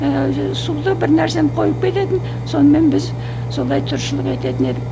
ііі суды бір нәрсені қойып кететін сонымен біз солай тіршілік ететін едік